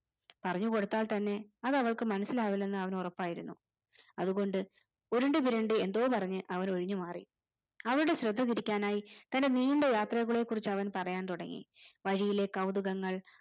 പറഞ്ഞു കൊടുത്താൽ തന്നെ അത് അവൾക്ക് മനസിലാവില്ലെന്ന് അവന് ഉറപ്പായിരുന്നു. അതുകൊണ്ട് ഉരുണ്ട്തിരുണ്ട് എന്തോ പറഞ് അവൻ ഒഴിഞ്ഞു മാറി അവളുടെ ശ്രദ്ധ തിരിക്കാനായി തന്റെ നീണ്ട യാത്രകളെ കുറിച്ച് അവൻ പറയാൻ തുടങ്ങി വഴിയിലെ കൗതുകങ്ങൾ